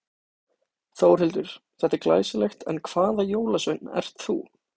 Þórhildur: Þetta er glæsilegt en hvaða jólasveinn ert þú?